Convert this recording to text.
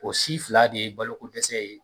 O si fila de ye balokodɛsɛ ye.